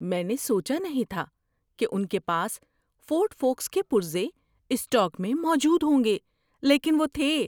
میں نے سوچا نہیں تھا کہ ان کے پاس فورڈ فوکَس کے پرزے اسٹاک میں موجود ہوں گے لیکن وہ تھے۔